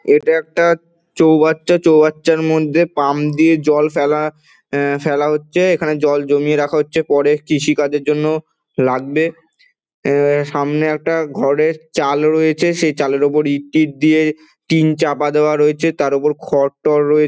এইটা একটা চ্চৌবাচ্ছা চ্চৌবাচ্ছার মধ্যে পাম্প দিয়ে জল ফেলা এ-এ ফেলা হচ্ছে এইখানে জল জমিয়ে রাখা হচ্ছে পরে কৃষিকাজের জন্য লাগবে সামনে একটা ঘরের চাল রয়েছে সেই চালের উপর ইট টিত দিয়ে টিন চপা দেয়া রয়েছে তার উপর খড়টড় রয়ে--